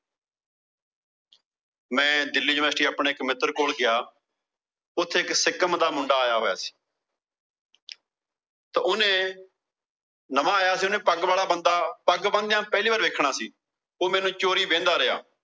ਮੈਂ ਦਿੱਲੀ ਯੂਨੀਵਰਸਿਟੀ ਆਪਣੇ ਇੱਕ ਮਿੱਤਰ ਕੋਲ ਗਿਆ। ਉਥੇ ਇੱਕ ਸਿੱਕਮ ਦਾ ਮੁੰਡਾ ਆਇਆ ਹੋਇਆ ਸੀ। ਤਾਂ ਉਹਨੇ ਨਵਾਂ ਆਇਆ ਸੀ ਉਹਨੇ ਪੱਗ ਵਾਲਾ ਬੰਦਾ, ਪੱਗ ਬੰਨਦਿਆਂ ਪਹਿਲਾ ਵਾਰ ਵੇਖਣਾ ਸੀ। ਉਹ ਮੈਨੂੰ ਚੋਰੀ ਵੇਂਹਦਾ ਰਿਹਾ।